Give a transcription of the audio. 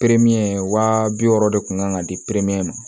wa bi wɔɔrɔ de kun kan ka di ma